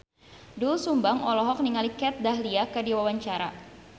Doel Sumbang olohok ningali Kat Dahlia keur diwawancara